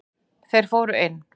Þeir fóru inn.